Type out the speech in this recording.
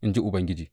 in ji Ubangiji.